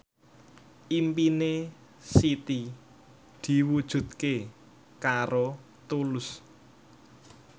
impine Siti diwujudke karo Tulus